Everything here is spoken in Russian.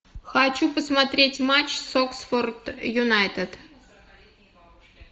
хочу посмотреть матч с оксфорд юнайтед